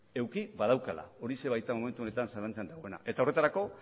eduki badaukala horixe baita momentu honetan zalantzan dagoena eta horretarako